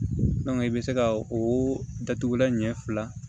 i bɛ se ka o datugulan ɲɛ fila